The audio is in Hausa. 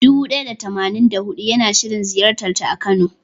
Dubu ɗaya da tamanin da huɗu yana shirin ziyartata a kano.